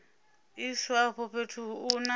iswa afho fhethu u na